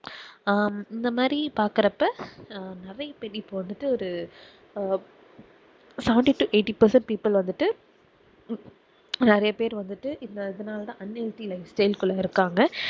ஆஹ் இந்த மாதிரி பாக்குறப்ப அஹ் நெறைய பேர் இபோ வந்துட்டு ஒரு seventy toeighty present people வந்துட்டு நெறைய பேர் வந்துட்டு இந்த இதனால தான் unhealthy life style குள்ள இருக்காங்க